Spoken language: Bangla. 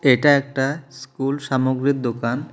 এটা একটা স্কুল সামগ্রীর দোকান।